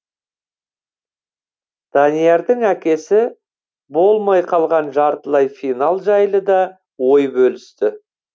даниярдың әкесі болмай қалған жартылай финал жайлы да ой бөлісті